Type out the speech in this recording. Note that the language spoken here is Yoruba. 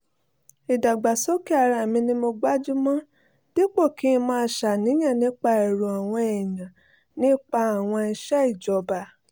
ìdàgbàsókè ara mi ni mo gbájú mọ́ dípò kí n máa ṣàníyàn nípa èrò àwọn èèyàn nípa àwọn iṣẹ́ ìjọba